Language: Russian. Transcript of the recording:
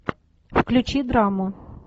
включи драму